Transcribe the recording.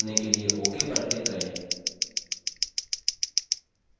dialog box को बंद करने के लिए ok पर click करें